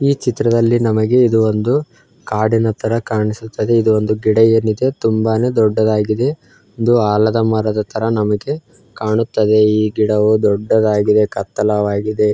ಈ ಚಿತ್ರದಲ್ಲಿ ನಮಗೆ ಇದು ಒಂದು ಕಾಡಿನ ತರ ಕಾಣಿಸುತ್ತದೆ ಇದು ಒಂದು ಗಿಡ ಏನಿದೆ ತುಂಬಾನೇ ದೊಡ್ಡದಾಗಿದೆ ಒಂದು ಆಲದ ಮರದ ತರ ನಮಗೆ ಕಾಣುತ್ತದೆ ಈ ಗಿಡವು ದೊಡ್ಡದಾಗಿದೆ ಕತ್ತಲವಾಗಿದೆ.